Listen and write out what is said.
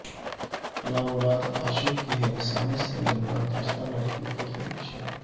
نامراد عاشق کی ہراسانی سے دلبرداشتہ لڑکی کی خودکشی